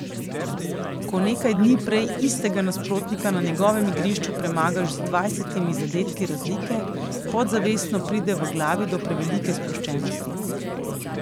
Ko nekaj dni prej istega nasprotnika na njegovem igrišču premagaš z dvajsetimi zadetki razlike, podzavestno pride v glavi do prevelike sproščenosti.